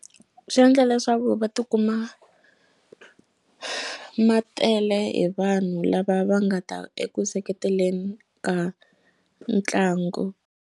Swi endla leswaku va tikuma ma tele hi vanhu lava va nga ta eku seketeleni ka ntlangu.